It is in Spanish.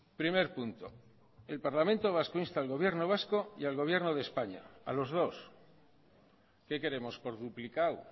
primer punto el parlamento vasco insta al gobierno vasco y al gobierno de españa a los dos qué queremos por duplicado